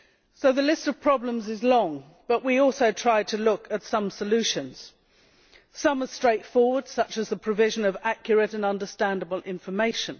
So the list of problems is long, but we also try to look at some solutions. Some are straightforward, such as the provision of accurate and understandable information.